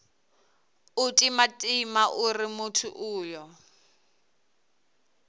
u timatima uri muthu uyo